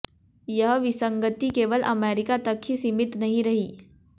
यह विसंगति केवल अमेरिका तक ही सीमित नहीं रही